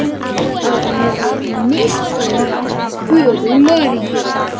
Að hann hefði misþyrmt föður Maríu.